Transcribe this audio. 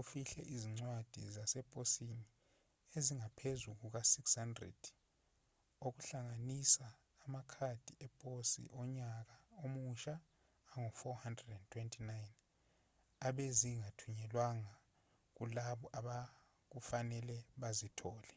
ufihle izincwadi zaseposini ezingaphezu kuka-600 okuhlanganisa amakhadi eposi onyaka omusha angu-429 ebezingathunyelwanga kulabo obekufanele bazithole